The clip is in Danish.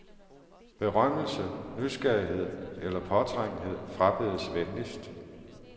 Berømmelse, nysgerrighed eller påtrængenhed frabedes venligst.